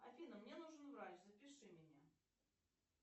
афина мне нужен врач запиши меня